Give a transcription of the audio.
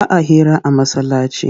Ba a hira a masallaci